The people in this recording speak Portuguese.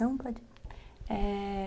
Não, pode... É...